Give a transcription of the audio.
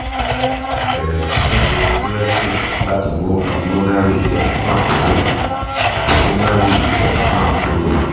bẹ̀rẹ̀ sí ní lo diuretics láti mú pulmonary edema kúrò pulmonary edema kúrò